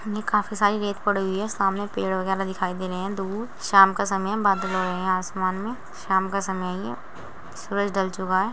ये काफी सारी रेत पड़ी हुई हैं। सामने पेड़ वगैरह दिखाई दे रहे हैं दूर शाम का समय है बादल हुए है आसमान में शाम का समय है ये सूरज ढल चुका है।